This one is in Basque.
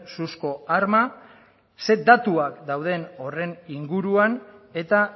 suzko arma zein datuak dauden horren inguruan eta